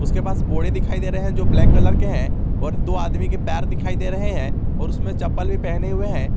के पास बोरे दिखाई दे रहे हैं जो ब्लैक कलर के हैं और दो आदमी के पैर दिखाई दे रहे हैं और उसमें चप्पल भी पहने हुए हैं।